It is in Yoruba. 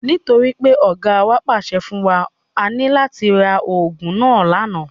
Nítorí pé Ọ̀gáa wa pàṣẹ fún wa, a ní láti ra ogún náà lànà.